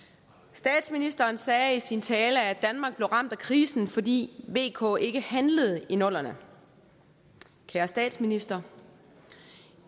statsministeren sagde i sin tale at danmark blev ramt af krisen fordi vk ikke handlede i nullerne kære statsminister